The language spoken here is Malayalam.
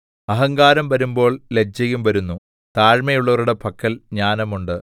അഹങ്കാരം വരുമ്പോൾ ലജ്ജയും വരുന്നു താഴ്മയുള്ളവരുടെ പക്കൽ ജ്ഞാനമുണ്ട്